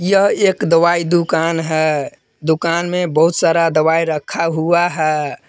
यह एक दवाई दुकान है दुकान में बहुत सारा दवाई रखा हुआ है।